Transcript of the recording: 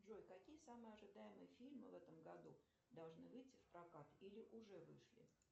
джой какие самые ожидаемые фильмы в этом году должны выйти в прокат или уже вышли